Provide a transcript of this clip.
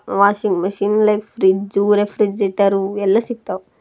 Washing machine ರೆ- fridge refrigerator ಎಲ್ಲಾ ಸಿಕ್ತಾವ್.